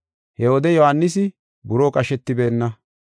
He wode Yohaanisi buroo qashetibeenna.